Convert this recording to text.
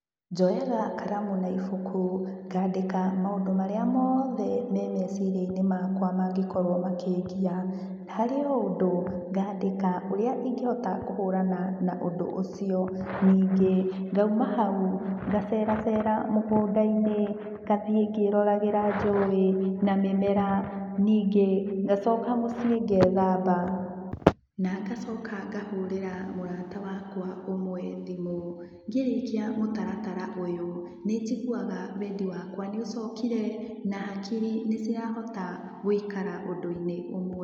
Njoyaga karamu na ibuku ngandĩka maũndũ marĩa moothe me meciria-inĩ makwa mangĩkorwo makĩngia. Harĩ o ũndũ ngandĩka ũrĩa ingĩhota kũrana na ũndũ ũcio ningĩ ngauma hau ngacera cera mũgũndainĩ ngathiĩ ngĩroragĩra njũĩ na mĩmera. Ningĩ ngacoka mũciĩ ngethamba, na ngacoka ngahũrĩra mũrata wakwa ũmwe thimũ. Ngĩrĩkia mũtaratara ũyu nĩnjiguaga wendi wakwa nĩucokire, na hakiri nĩ cirahota gũikara ũndũ-inĩ ũmwe.